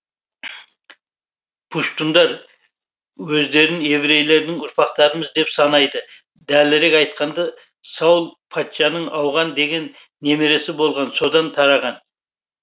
пуштундар өздерін еврейлердің ұрпақтарымыз деп санайды дәлірек айтқанда саул патшаның ауған деген немересі болған содан тараған